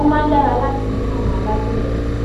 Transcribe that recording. ó máa ń dára láti ní àwọn alátìlẹyìn